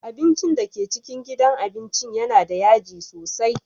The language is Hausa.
Abincin da ke cikin gidan abincin yana da yaji sosai.